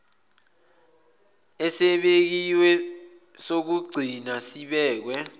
esibekiwe sokugcina sibekwe